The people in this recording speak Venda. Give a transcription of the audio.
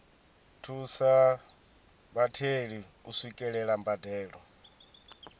thusa vhatheli u swikelela mbadelo